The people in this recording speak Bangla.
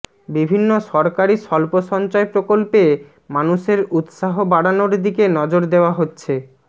বিভিন্ন সরকারি স্বল্পসঞ্চয় প্রকল্পে মানুষের উত্সাহ বাড়ানোর দিকে নজর দেওয়া হচ্ছে